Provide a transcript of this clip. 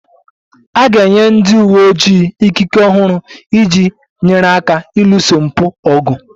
A ga-enye ndị uwe ojii ikike ọhụrụ iji nyere aka ịlụso mpụ ọgụ